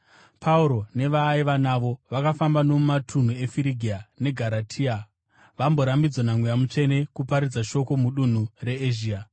Pauro nevaaiva navo vakafamba nomumatunhu eFirigia neGaratia, vamborambidzwa naMweya Mutsvene kuparidza shoko mudunhu reEzhia.